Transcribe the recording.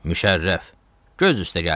Müşərrəf, göz üstə gəldin.